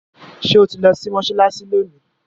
ṣe o tí lò sí Mossalassi lóni?